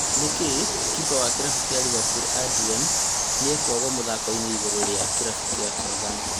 Nĩkĩ kipa wa kĩrabu kĩa Liverpool Adrian "nĩekwagwo" mũthako-inĩ igũrũ rĩa kĩrabu kĩa Southampton?